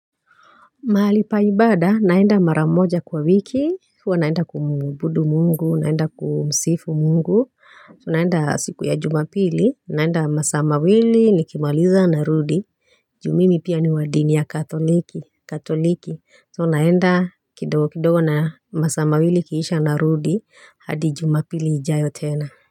Mahalipaibada naenda maramoja kwa wiki, huwa naenda kumuabudu mungu, naenda kumsifu mungu, tunaenda siku ya jumapili, naenda masaa mawili nikimaliza narudi, juu mimi pia ni wadini ya katoliki, katoliki, tunaenda kidogo kidogo na masaa mawili ikisha narudi, hadi jumapili ijayo tena.